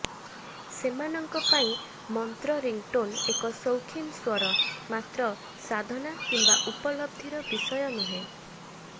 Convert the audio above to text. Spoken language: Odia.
ସେମାନଙ୍କ ପାଇଁ ମନ୍ତ୍ର ରିଙ୍ଗଟୋନ୍ ଏକ ସୌଖୀନ ସ୍ୱର ମାତ୍ର ସାଧନା କିମ୍ୱା ଉପଲବ୍ଧିର ବିଷୟ ନୁହେଁ